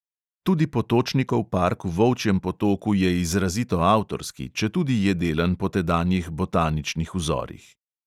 Tudi potočnikov park v volčjem potoku je izrazito avtorski, četudi je delan po tedanjih botaničnih vzorih.